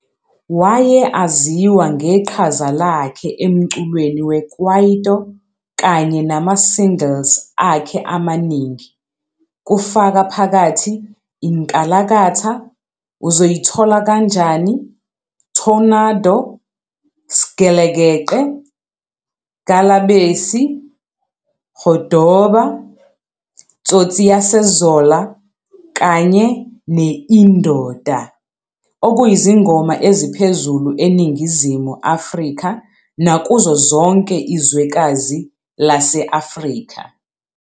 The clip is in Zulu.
Waye aziwa ngeqhaza lakhe emculweni we-kwaito kanye nama-singles akhe amaningi, kufaka phakathi i-"Nkalakatha", "Uzoyithola Kanjani, Tornado", "Sgelekeqe", "Ngalabesi", "Godoba", "Tsotsi Yase Zola" kanye ne-"Indoda", okuyizingoma eziphezulu eNingizimu Afrika nakuzo zonke izwekazi lase-Afrika.